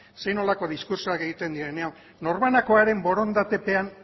zein nolako diskurtsoak egiten diren norbanakoaren borondatepean